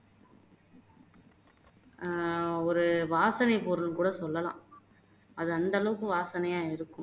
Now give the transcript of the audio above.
அஹ் ஒரு வாசனைப்பொருள்னு கூட சொல்லலாம் அது அந்த அளவுக்கு வாசனையா இருக்கும்